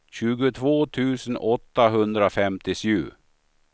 tjugotvå tusen åttahundrafemtiosju